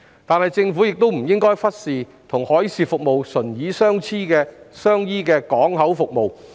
然而，政府不應忽視與海事服務唇齒相依的港口服務。